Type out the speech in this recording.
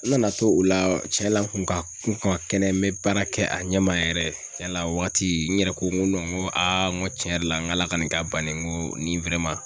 N nana to o la tiɲɛ la n kun ka n kun ŋa kɛnɛ n bɛ baara kɛ a ɲɛ ma yɛrɛ, tiɲɛ la o waati n yɛrɛ ko ŋo ŋo ŋo tiɲɛ yɛrɛ la ŋ'Ala ka nin k'a bannen ŋo nin